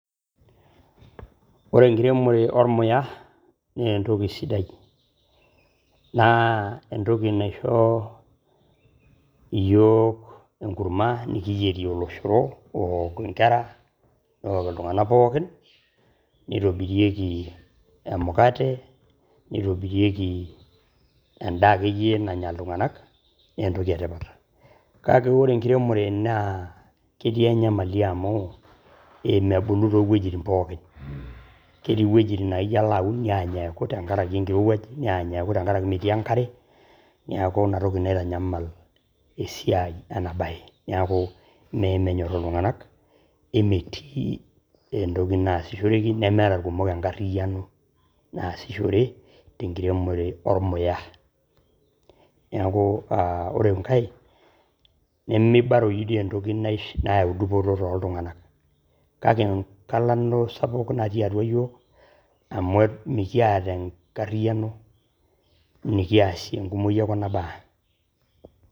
Ore enkiremore olmuya nee entoki sidai naa entoki yook enkurumwa nikiyerie oloshoro ook inkera neok ltungana pookin, neitobirieki emukate, neitobirieki endaa ake iye nanya ltunganak nee entoki etipat, kake ore enkiremore naa ketii nyamali amuu emebulu too wejitin pookin, ketii wejitin naa ijo alo aun neany eaku tengaraki inkirewaj, neany eaku tengaraki metii enkare neaku ina toki naitanyamal esiai ena baye neaku mee menyorr oltunganak emetii entoki naashishoreki nemeeta lkumok enkaririyano naasishore te inkiremore olmuya ,naake ore inkae nemeibaroi dei entoki nayau edupoto too ltunganak kake enkalano sapuk natii atua yook amu mikieta enkaririyano nikiasie enkumoi oo kuna baa .